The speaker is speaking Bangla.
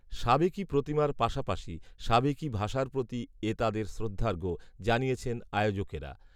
সাবেকি প্রতিমার পাশাপাশি সাবেকি ভাষার প্রতি এ তাঁদের শ্রদ্ধার্ঘ, জানিয়েছেন আয়োজকেরা